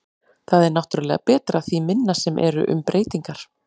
Það er náttúrulega betra því minna sem eru um breytingar.